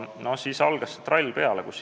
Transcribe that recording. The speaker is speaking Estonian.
No siis algas trall peale.